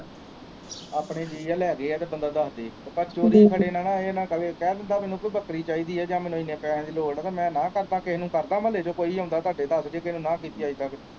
ਆਪਣੇ ਜੀਅ ਆ ਲੈ ਗਏ ਤਾ ਬੰਦਾ ਦਸਦੇ ਤੇ ਪਰ ਚੋਰੀ ਖੜੇ ਨਾ ਨਾ ਇਹ ਨਾ ਕਵੇ ਕਹਿ ਦਿੰਦਾ ਮੈਨੂੰ ਪੀ ਬੱਕਰੀ ਚਾਹੀਦੀ ਆ ਜਾ ਮੈਨੂੰ ਏਨੇ ਪੈਸਿਆਂ ਦੀ ਲੋੜ ਆ ਤੇ ਮੈ ਨਾ ਕਰਦਾ ਕਿਹੇ ਨੂੰ ਕਰਦਾ ਮਹੱਲੇ ਚ ਕੋਈ ਵੀ ਆਉਂਦਾ ਤੁਹਾਡੇ ਚ ਕਿਹੇ ਨੂੰ ਨਾ ਨਾ ਕੀਤੀ ਅੱਜ ਤਕ ਤੇ